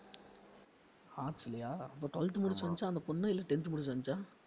arts லயா அப்ப twelfth முடிச்சு வந்துச்சா அந்தப் பொண்ணு இல்ல tenth முடிச்சு வந்துச்சா?